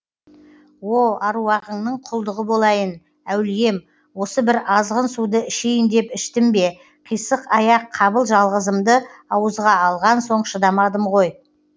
о аруағыңның құлдығы болайын әулием осы бір азғын суды ішейін деп іштім бе қисық аяқ қабыл жалғызымды ауызға алған соң шыдамадым ғой